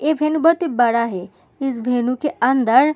ये वेन्यू बहुत ही बड़ा है इस वेन्यू के अंदर --